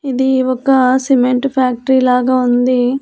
ఇది ఒక cement factory లాగా ఉంది.